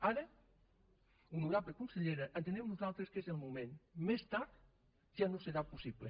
ara honorable consellera entenem nosaltres que és el moment més tard ja no serà possible